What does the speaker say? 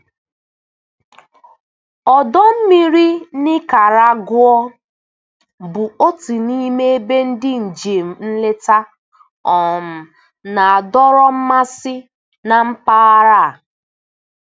Ọdọ mmiri Nikaragụa bụ otu n'ime ebe ndị njem nleta um na-adọrọ mmasị na mpaghara a.